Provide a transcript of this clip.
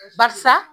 Barisa